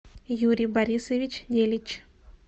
юрий борисович делич